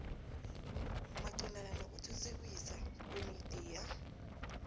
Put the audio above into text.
manqophana nokuthuthukiswa kwemidiya